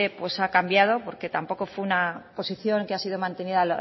pues ha cambiado porque tampoco fue una posición que ha sido mantenida